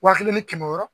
Waa kelen ni kɛmɛ wɔɔrɔ